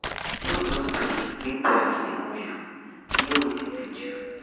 No just gree make trends dey move you, wear wetin fit you.